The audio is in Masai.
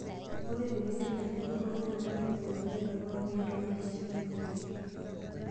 Ore teneidipi enkurokinoto netoipori ntona oorkiek toonkirishat oorkiek.